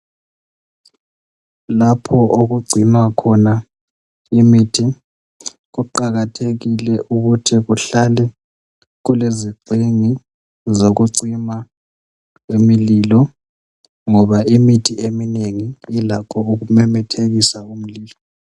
Lapho okugcinwa khona imithi kuqakathekile ukuthi kuhlale kulezigxingi zokucima imlilo ngoba imithi eminengi ilakho ukumemethekisa umlulo.